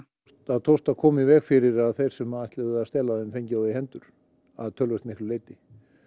tókst að koma í veg fyrir að þeir sem ætluðu að stela þeim fengu þá í hendur að töluvert miklu leyti